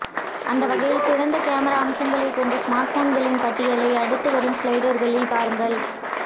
அந்த வகையில் சிறந்த கேமரா அம்சங்களை கொண்ட ஸ்மார்ட்போன்களின் பட்டியலை அடுத்து வரும் ஸ்லைடர்களில் பாருங்க